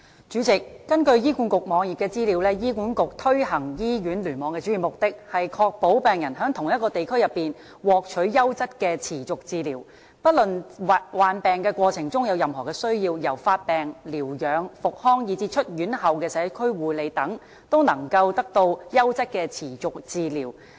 主席，根據醫管局網頁的資料，醫管局推行醫院聯網的主要目的，是"確保病人在同一個地區內，獲取優質的持續治療，不論病患過程中有任何需要——由發病、療養、復康以至出院後的社區護理等——都能得到優質的持續治療。